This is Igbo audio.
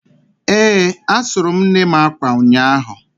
Ee, asụrụ m nnem akwa ụnyahụ